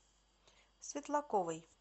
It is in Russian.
светлаковой